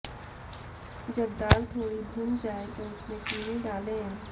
जब दाल थोड़ी भुन जाए तो उसमें चीनी डालें